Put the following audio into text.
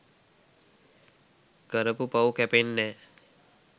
කරපු පව් කැපෙන්නැ‍.